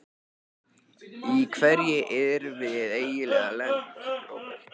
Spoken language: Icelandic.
Í hverju erum við eiginlega lent, Róbert?